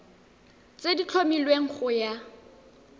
tse di tlhomilweng go ya